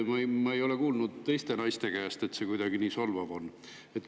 Ma ei ole kuulnud teiste naiste käest, et see kuidagi solvav on.